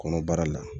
Kɔnɔbara la